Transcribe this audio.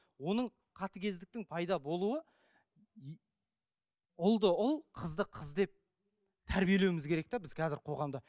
оның қатыгездіктің пайда болуы и ұлды ұл қызды қыз деп тәрбиелеуіміз керек те біз қазір қоғамда